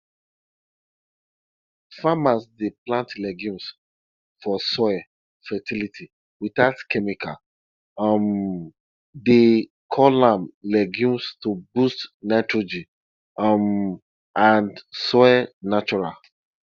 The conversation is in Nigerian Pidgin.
i bury old banana stick or body near where i plant plant sweet corn make e keep water and add food to ground